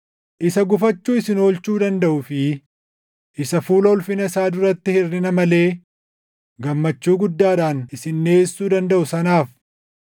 Isa gufachuu isin oolchuu dandaʼuu fi isa fuula ulfina isaa duratti hirʼina malee, gammachuu guddaadhaan isin dhiʼeessuu dandaʼu sanaaf,